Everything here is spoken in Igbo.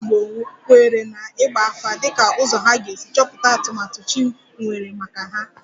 Ndị Igbo kweere na ịgba afa dịka ụzọ ha ga-esi chọpụta atụmatụ chi nwere maka ha